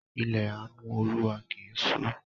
Ilẹ̀ àánú Olúwa kì í ṣú.